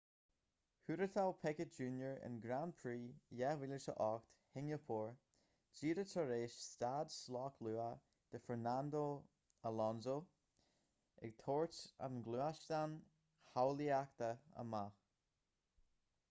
thuairteáil piquet jr in grand prix 2008 shingeapór díreach tar éis stad sloic luath do fernando alonso ag tabhairt an ghluaisteáin shábháilteachta amach